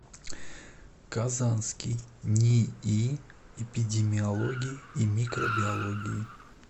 казанский нии эпидемиологии и микробиологии